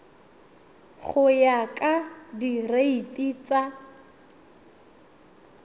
go ya ka direiti tsa